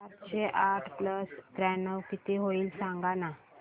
सातशे आठ प्लस त्र्याण्णव किती होईल सांगना